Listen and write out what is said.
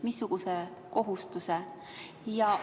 Missuguse kohustuse?